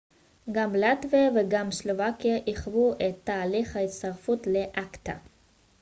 גם לטביה וגם סלובקיה עיכבו את תהליך ההצטרפות ל-acta